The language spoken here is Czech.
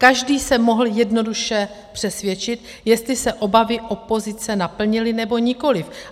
Každý se mohl jednoduše přesvědčit, jestli se obavy opozice naplnily, nebo nikoliv.